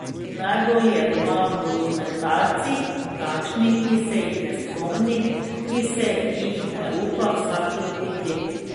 Najbolj je doma v dokumentarcih, takšnih, ki se jih ne spomni, ki se jih ne upa vsak lotiti.